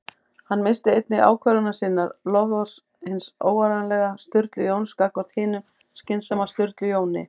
Hann minnist einnig ákvörðunar sinnar- loforðs hins óáreiðanlega Sturlu Jóns gagnvart hinum skynsama Sturlu Jóni